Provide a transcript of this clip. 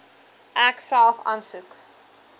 ek self aansoek